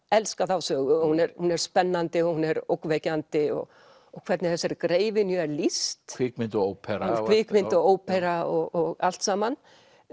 elska þá sögu hún er hún er spennandi og hún er ógnvekjandi og og hvernig þessari greifynju er lýst kvikmynd og ópera kvikmynd og ópera og allt saman